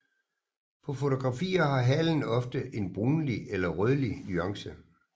På fotografier har halen ofte en brunlig eller rødlig nuance